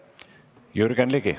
Jürgen Ligi.